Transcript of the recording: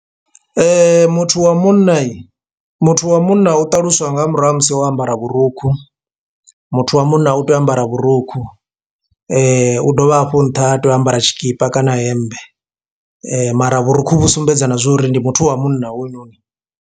Muthu wa munna muthu wa munna u ṱaluswa nga murahu ha musi o ambara vhurukhu, muthu wa munna u tea u ambara vhurukhu u dovha hafhu nṱha ha tei u ambara tshikipa kana hemmbe mara vhurukhu vhu sumbedza na zwori ndi muthu wa munna hoyunoni.